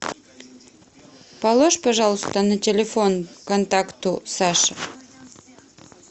положь пожалуйста на телефон контакту саше